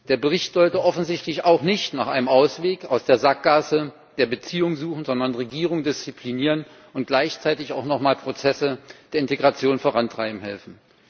Der Bericht sollte offensichtlich auch nicht nach einem Ausweg aus der Sackgasse der Beziehungen suchen, sondern Regierungen disziplinieren und gleichzeitig auch noch mal Prozesse der Integration vorantreiben helfen.